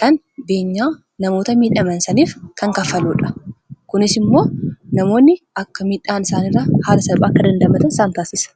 kan beenyaa namoota miidhaman saniif kan kaffaluudha kunis immoo namoonni akka miidhaan isaanirraa haala salpa akka dandamatan saan taasisa